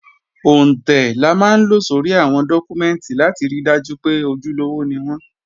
Òǹtẹ̀ la máa ń lo sórí àwọn dọ́kúmẹ́ǹtì láti ri dájú pé ojúlówó ni wọ́n